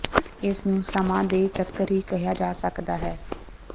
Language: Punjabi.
ਇਸਨੂੰ ਸਮਾਂ ਦੇ ਚੱਕਰ ਹੀ ਕਿਹਾ ਜਾ ਸਕਦਾ ਹੈ